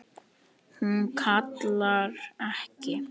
Hún kallar ekki: